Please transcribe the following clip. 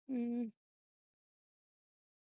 ਹਮ